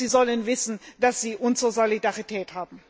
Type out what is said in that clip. Sie sollen wissen, dass sie unsere Solidarität haben.